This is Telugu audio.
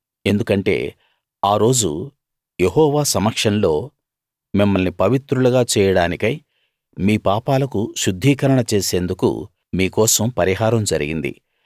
ఎందుకంటే ఆ రోజు యెహోవా సమక్షంలో మిమ్మల్ని పవిత్రులుగా చేయడానికై మీ పాపాలకు శుద్ధీకరణ చేసేందుకు మీ కోసం పరిహారం జరిగింది